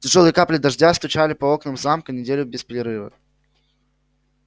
тяжёлые капли дождя стучали по окнам замка неделю без перерыва